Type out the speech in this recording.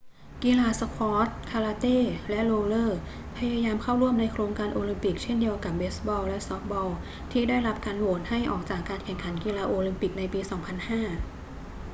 กีฬาสควอช คาราเต้ และโรลเลอร์ พยายามเข้าร่วมในโครงการโอลิมปิกเช่นเดียวกับเบสบอลและซอฟต์บอลที่ได้รับการโหวตให้ออกจากการแข่งขันกีฬาโอลิมปิกในปี 2005